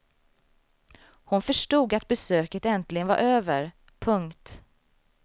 Hon förstod att besöket äntligen var över. punkt